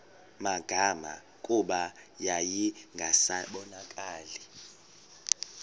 magama kuba yayingasabonakali